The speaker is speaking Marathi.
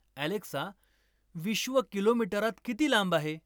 अॅलेक्सा, विश्व किलोमीटरात किती लांब आहे?